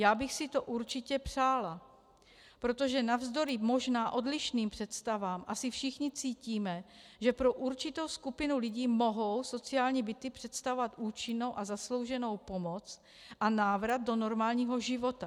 Já bych si to určitě přála, protože navzdory možná odlišným představám asi všichni cítíme, že pro určitou skupinu lidí mohou sociální byty představovat účinnou a zaslouženou pomoc a návrat do normálního života.